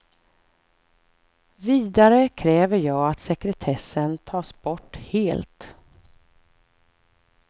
Vidare kräver jag att sekretessen tas bort helt.